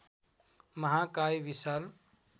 महाकाय विशाल